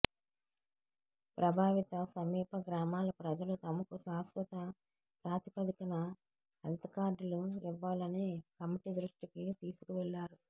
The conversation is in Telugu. ప్రభావిత సమీప గ్రామాల ప్రజలు తమకు శాశ్వత ప్రాతిపదికన హెల్త్ కార్డులు ఇవ్వాలని కమిటీ దృష్టికి తీసుకు వెళ్లారు